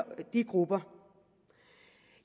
grupper